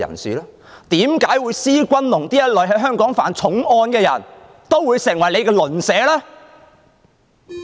為何施君龍這類在香港曾犯重案的人也會成為你的鄰居？